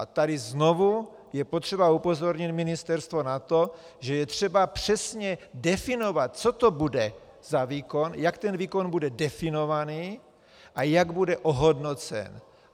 A tady je znovu potřeba upozornit ministerstvo na to, že je třeba přesně definovat, co to bude za výkon, jak ten výkon bude definovaný a jak bude ohodnocen.